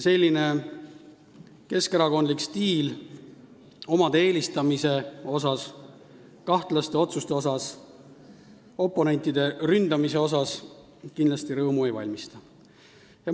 Selline keskerakondlik omade eelistamise, kahtlaste otsuste ja oponentide ründamise stiil kindlasti rõõmu ei valmista.